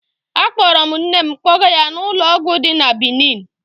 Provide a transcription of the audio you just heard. Akpọrọ m nne m kpọga ya n'ụlọ ọgwụ dị na Benin.